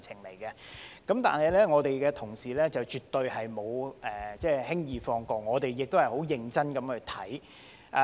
可是，我們的同事絕對沒有輕易放過，我們亦很認真審議。